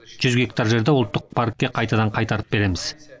жүз гектар жерді ұлттық паркке қайтадан қайтарып береміз